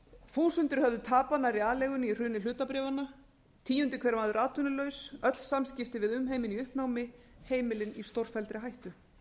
þúsundir höfðu tapað nær aleigunni í hruni hlutabréfanna tíundi hver maður atvinnulaus öll samskipti við umheiminn í uppnámi heimilin í stórfelldri hættu